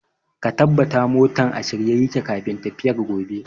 Ka tabata motan a shirye yake kafin tafiyar gobe!